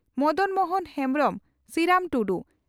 Madan Mohan Hembrom Siram Tudu